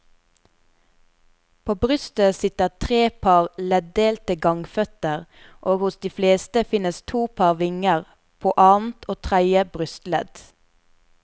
På brystet sitter tre par leddelte gangføtter og hos de fleste finnes to par vinger, på annet og tredje brystledd.